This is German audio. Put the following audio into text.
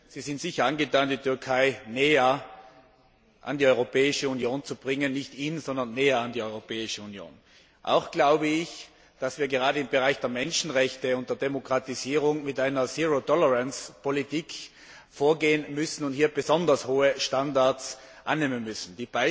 Sie sind sicher dazu angetan, die Türkei näher an die Europäische Union zu bringen nicht in, aber näher an die Europäische Union! Auch glaube ich, dass wir gerade im Bereich der Menschenrechte und der Demokratisierung mit einer Politik der Zero Tolerance vorgehen und besonders hohe Standards annehmen müssen.